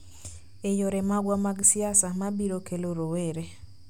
e yore magwa mag siasa, ma biro kelo rowere